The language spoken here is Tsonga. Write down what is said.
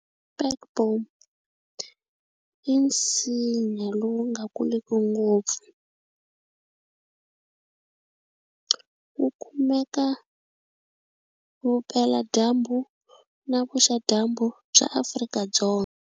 Spekboom i nsinya lowu nga kuliki ngopfu wu kumeka vupeladyambu na vuxadyambu bya Afrika-Dzonga.